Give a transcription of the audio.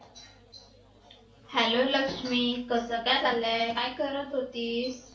hello Lakshmi कस काय चाललंय काय करत होतीस?